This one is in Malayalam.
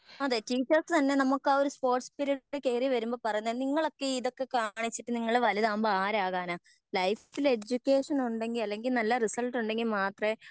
തന്നെ നമുക്കാവൊരു സ്പോർട്സ് പിരീഡ് കേറി വരുമ്പോ പറയുന്നേ നിങ്ങളൊക്കെ ഈ ഇതൊക്കെ കാണിച്ചിട്ട് നിങ്ങൾ വലുതാകുമ്പോ ആരാകാനാ ലൈഫിൽ എഡ്യൂക്കേഷൻ ഉണ്ടെങ്കി അല്ലെങ്കി നല്ല റിസൾട്ട് ഉണ്ടെങ്കി മാത്രേ